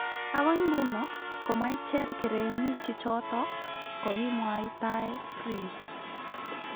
Agoi nguno ko maicher kerenyi chichoto kokimwaitae, Prince.